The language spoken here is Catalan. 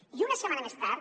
i una setmana més tard